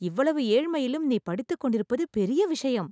இவ்வளவு ஏழ்மையிலும் நீ படித்துக் கொண்டிருப்பது பெரிய விஷயம்